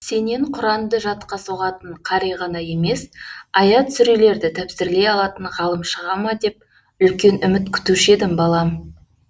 сенен құранды жатқа соғатын қари ғана емес аят сүрелерді тәпсірлей алатын ғалым шыға ма деп үлкен үміт күтуші едім балам